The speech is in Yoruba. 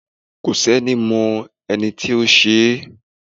Kọ si ení mọ, enítí o ṣẹ́